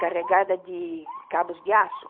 carregada de cabos de aço.